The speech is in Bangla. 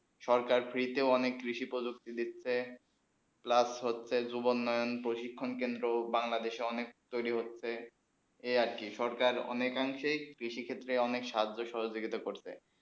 সরকার free তে অনেক কৃষি প্রযুক্তি দিচ্ছে হচ্ছেই plus হচ্ছে যুবন নয়ন প্রশিক্ষণ কেন্দ্র বাংলাদেশে অনেক তয়রি হচ্ছেই এই আর কি সরকার অনেক অংশে কৃষি ক্ষেত্রে অনেক সহজ সহজিয়া করছে